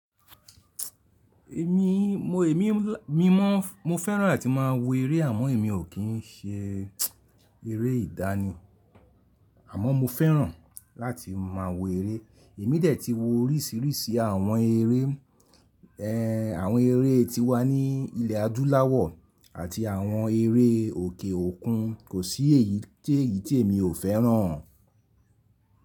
Èmi mo, èmi mi mọ, mo fẹ́ràn láti máa wo eré àmọ́ èmi ò kí ń ṣe eré ìdánì, àmọ́ mo fẹ́ràn láti máa wo eré. Èmi dẹ̀ tí wo oríṣìíríṣìí àwọn eré, ẹ́ àwọn eré tí wà ní ilẹ̀ adúláwọ̀ àti àwọn eré òkè òkun. Kò sí èyí tí èyí tí èmi ò fẹ́ràn.